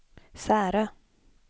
Särö